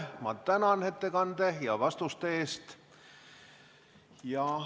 Ma tänan ettekande ja vastuste eest.